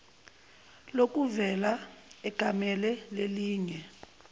lokuvela egamele lelinye